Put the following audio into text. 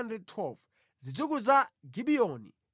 Zidzukulu za Gibiyoni 95.